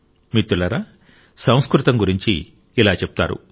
మిత్రులారా సంస్కృతం గురించి ఇలా చెప్తారు